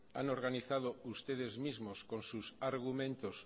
han organizado ustedes mismos con sus argumentos